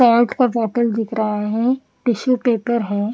Card का bottle दिख रहा है टिशू पेपर हैं।